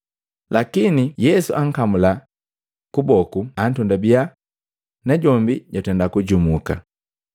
Lakini Yesu ankamula kuboku antondabya, najombi jwatenda kujumuka.